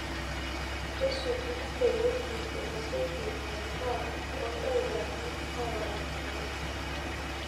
isuja ewueji ninosieki en'daa too idaikani oora tomo